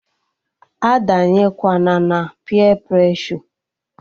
A danyekwana na peer preshọ!